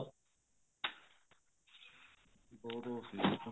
ਹੋਰ ਉਹ ਸੀ